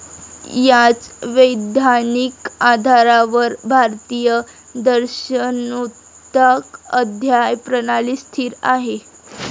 याच वैधानिक आधारावर भारतीय दर्शनोक्ता अध्याय प्रणाली स्थिर आहे.